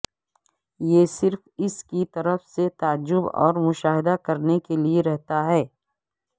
یہ صرف اس کی طرف سے تعجب اور مشاہدہ کرنے کے لئے رہتا ہے